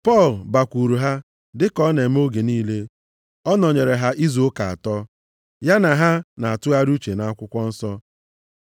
Pọl bakwuuru ha, dịka ọ na-eme oge niile. Ọ nọnyere ha izu ụka atọ, ya na ha na-atụgharị uche nʼAkwụkwọ Nsọ,